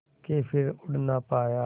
के फिर उड़ ना पाया